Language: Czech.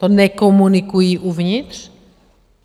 To nekomunikují uvnitř?